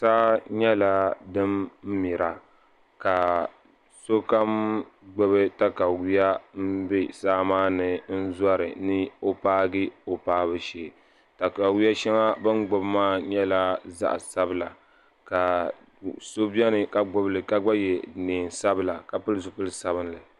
Saa nyɛla din mira ka sokam gbibi takawiya m be saa maani n zori ni o paagi o paabu shee takawiya sheŋa bini gbibi maa nyɛla zaɣa sabila ka so biɛni ka gbibili ka ye niɛn'sabla ka pili zipili sabinli.